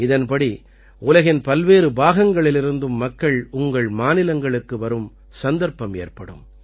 இதன்படி உலகின் பல்வேறு பாகங்களிலிருந்தும் மக்கள் உங்கள் மாநிலங்களுக்கு வரும் சந்தர்ப்பம் ஏற்படும்